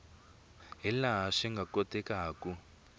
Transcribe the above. hi laha swi nga kotekaku